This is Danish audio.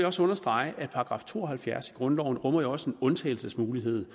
også understrege at § to og halvfjerds i grundloven også rummer en undtagelsesmulighed